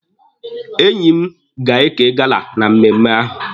Enyi m ga-eke gala na mmemme ahụ.